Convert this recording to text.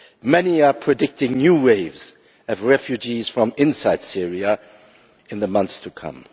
Many are predicting new waves of refugees from inside Syria in the months to come.